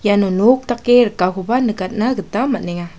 iano nok dake rikakoba nikatna gita man·enga.